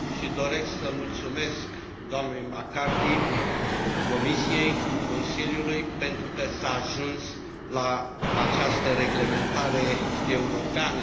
Doresc să i mulțumesc dnei McCarthy, Comisiei și Consiliului pentru că s a ajuns la această reglementare europeană.